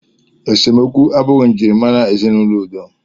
Esemokwu abụghị njirimara ezinaụlọ udo.